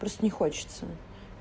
просто не хочется